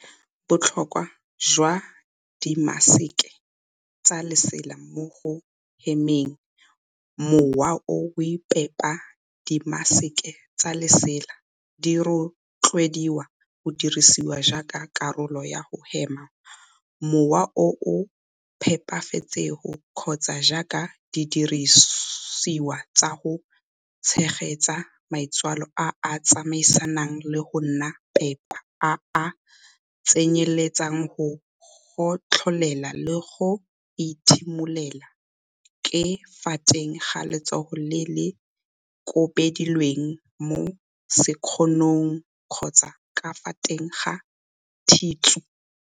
Botlhokwa jwa dimaseke tsa lesela mo go hemeng mowa o o phepa Dimaseke tsa lesela di rotloediwa go dirisiwa jaaka karolo ya go hema mowa o o phepafetseng kgotsa jaaka didirisiwa tsa go tshegetsa maitsholo a a tsamaisanang le go nna phepa a a tsenyeletsang go gotlholela le go ethimolela ka fa teng ga letsogo le le kobilweng mo sekgonong kgotsa ka fa teng ga thišu.